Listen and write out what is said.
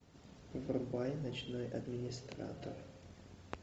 врубай ночной администратор